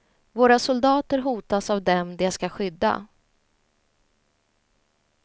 Våra soldater hotas av dem de skall skydda.